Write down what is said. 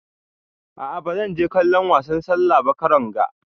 A'a ba zan je kallon wasan sallah ba karon ga.